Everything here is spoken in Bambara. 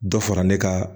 Dɔ fara ne ka